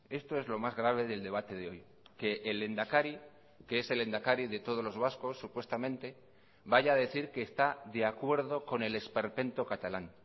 esto es lo más grave del debate de hoy que el lehendakari que es el lehendakari de todos los vascos supuestamente vaya a decir que está de acuerdo con el esperpento catalán